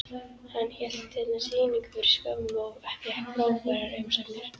Hann hélt hérna sýningu fyrir skömmu og fékk frábærar umsagnir.